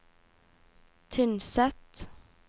Tynset